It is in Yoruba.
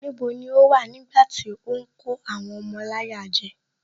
Níbo ni o wà nígbàtí ó ń kó àwọn ọmọ láyà jẹ